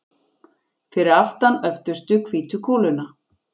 Fyrir aftan öftustu hvítu kúluna.